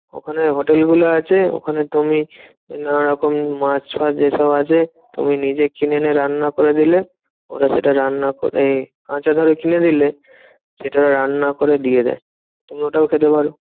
ওখানে হোটেলগুলো আছে ওখানে তুমি নানান রকম মাছ ফাছ এসব আছে। তুমি নিজে কিনে এনে রান্না করে নিলে ওরা সেটা রান্না এই আচ্ছা ধরো কিনে দিলে, সেটা রান্না করে দিয়ে দেয়। তুমি ওটাও খেতে পারো।